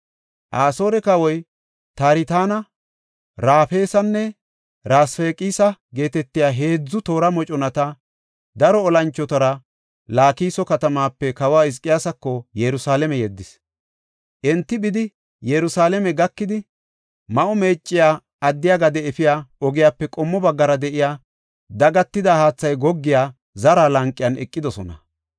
Asoore kawoy, Tartana, Rafeesanne Rasfaqisa geetetiya heedzu toora moconata, daro olanchotara Laakiso katamaape kawa Hizqiyaasako Yerusalaame yeddis. Enti bidi, Yerusalaame gakidi, Ma7o Meecciya addiya gade efiya ogiyape qommo baggara de7iya, dagatida haathay goggiya zara lanqen eqidosona.